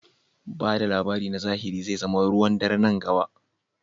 Ba da labari na zahiri zai zama ruwan dare a nan gaba.